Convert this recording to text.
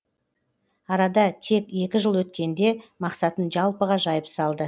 арада тек екі жыл өткенде мақсатын жалпыға жайып салды